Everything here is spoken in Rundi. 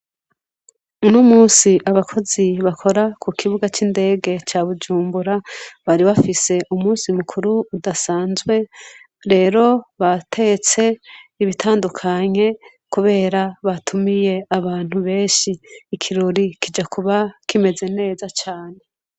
Uno munsi abakozi bakora ku kibuga c'indege ca Bujumbura, bari bafise umunsi mukuru udasanzwe, rero batetse ibitandukanye, kubera batumiye abantu benshi. Ikirori kija kuba kimeze neza cane.